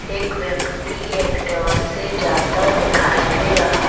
एक व्यक्ति एक्टिवा से जाता दिखाई दे रहा --